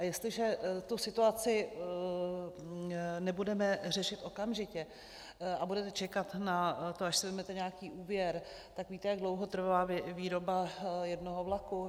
A jestliže tu situaci nebudeme řešit okamžitě a budeme čekat na to, až si vezmete nějaký úvěr, tak víte, jak dlouho trvá výroba jednoho vlaku?